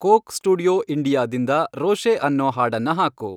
coke Studio ಇಂಡಿಯಾದಿಂದ ರೋಷೆ ಅನ್ನೋ ಹಾಡನ್ನ ಹಾಕು